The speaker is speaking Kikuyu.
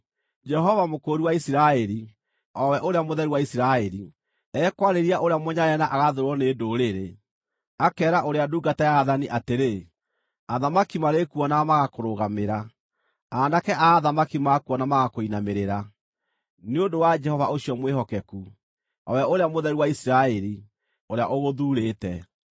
Jehova, Mũkũũri wa Isiraeli, o we Ũrĩa Mũtheru wa Isiraeli, ekwarĩria ũrĩa mũnyarare na agathũũrwo nĩ ndũrĩrĩ, akeera ũrĩa ndungata ya aathani atĩrĩ, “Athamaki marĩkuonaga magakũrũgamĩra, aanake a athamaki makuona magakũinamĩrĩra, nĩ ũndũ wa Jehova, ũcio mwĩhokeku, o we Ũrĩa Mũtheru wa Isiraeli, ũrĩa ũgũthuurĩte.”